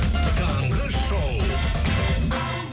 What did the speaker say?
таңғы шоу